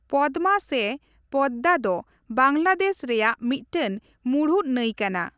ᱯᱚᱫᱽᱢᱟ ᱥᱮ ᱯᱚᱫᱽᱫᱟ ᱫᱚ ᱵᱟᱝᱞᱟᱫᱮᱥ ᱨᱮᱭᱟᱜ ᱢᱤᱫᱴᱟᱝ ᱢᱩᱬᱩᱫ ᱱᱟᱹᱭ ᱠᱟᱱᱟ ᱾